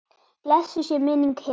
Blessuð sé minning Hebu.